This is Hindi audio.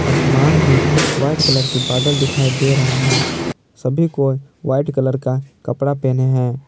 आसमान में वाइट कलर के बादल दिखाई दे रहा है सभी को व्हाइट कलर का कपड़ा पहने हैं।